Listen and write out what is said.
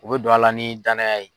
U bɛ don a la ni danya ye.